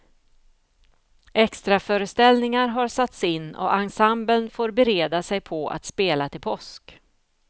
Extraföreställningar har satts in och ensemblen får bereda sig på att spela till påsk.